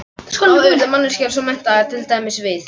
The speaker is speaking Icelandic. Þá yrðu manneskjurnar svo menntaðar, til dæmis við